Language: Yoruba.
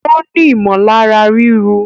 Ó ní ìmọ̀lára ríru